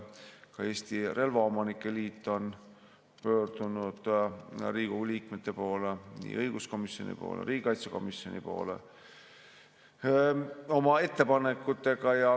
Ka Eesti Relvaomanike Liit on pöördunud Riigikogu liikmete poole, nii õiguskomisjoni poole kui ka riigikaitsekomisjoni poole oma ettepanekutega.